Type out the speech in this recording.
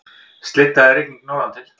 Slydda eða rigning norðantil